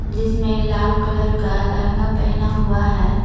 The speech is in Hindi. जिसमें लाल कलर का लहंगा पहना हुआ है।